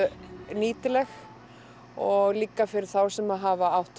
nýtileg og líka fyrir þá sem hafa átt